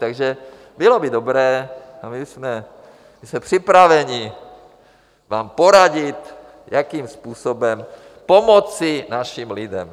Takže bylo by dobré, a my jsme připraveni vám poradit, jakým způsobem pomoci našim lidem.